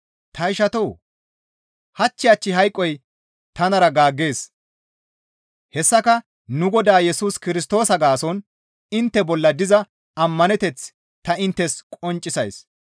Ta ishatoo! Hach hach hayqoy tanara gaaggees; hessaka nu Godaa Yesus Kirstoosa gaason intte bolla diza ammaneteth ta inttes qonccisays.